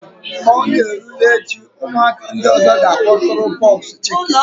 Ka ọ na-erule echi, ụmụaka ndị ọzọ ga-akpọtụrụ pox chicken